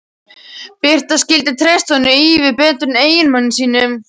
Birta skyldi treysta honum ívið betur en eiginmanni sínum.